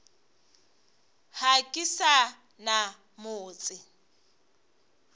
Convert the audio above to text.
ga ke sa na motse